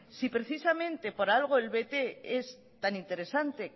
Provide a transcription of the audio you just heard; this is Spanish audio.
si precisamente por algo el bt es tan interesante